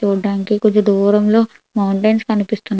చూడ్డానికి కొంత దూరంలో మౌంటెన్స్ కనిపిస్తున్నాయి.